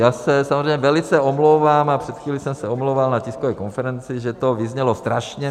Já se samozřejmě velice omlouvám, a před chvílí jsem se omlouval na tiskové konferenci, že to vyznělo strašně.